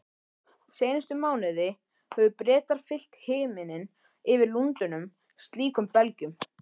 Seinustu mánuði höfðu Bretar fyllt himininn yfir Lundúnum slíkum belgjum.